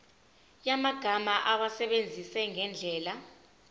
yamagama awasebenzise ngendlela